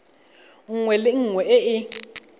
nngwe le nngwe e e